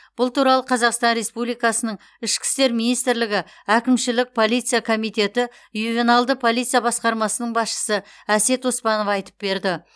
бұл туралы қазақстан республикасының ішкі істер министрлігі әкімшілік полиция комитеті ювеналды полиция басқармасының басшысы әсет оспанов айтып берді